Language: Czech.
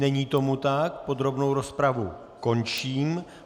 Není tomu tak, podrobnou rozpravu končím.